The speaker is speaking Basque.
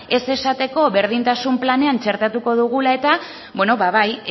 ez esateko berdintasun planean txertatuko dugula eta bai